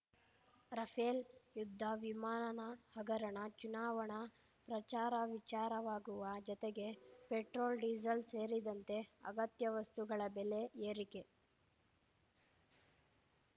Rafale ಯುದ್ಧ ವಿಮಾನ ಹಗರಣ ಚುನಾವಣಾ ಪ್ರಚಾರ ವಿಚಾರವಾಗುವ ಜತೆಗೆ ಪೆಟ್ರೋಲ್ಡೀಸಲ್ ಸೇರಿದಂತೆ ಅಗತ್ಯ ವಸ್ತುಗಳ ಬೆಲೆ ಏರಿಕೆ